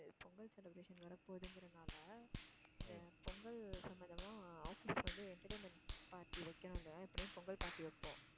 Pongal celebration வரப்போதுங்கறதுனால அஹ் பொங்கல் சம்பந்தமா ஆஹ் office வந்து entertainment party வைக்கணுமில்ல எப்படியும் பொங்கல் party வைப்போம்